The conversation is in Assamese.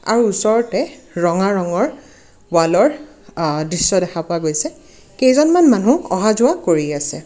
আৰু ওচৰতে ৰঙা ৰঙৰ ৱালৰ আহ দৃশ্য দেখা পোৱা গৈছে কেইজনমান মানুহ অহা-যোৱা কৰি আছে।